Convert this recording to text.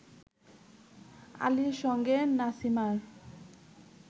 আলীর সঙ্গে নাসিমার